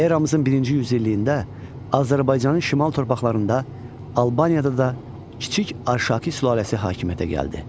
Eramızın birinci yüzilliyində Azərbaycanın şimal torpaqlarında Albaniyada da kiçik Arşaki sülaləsi hakimiyyətə gəldi.